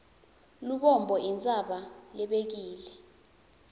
lubombo intsaba lebekile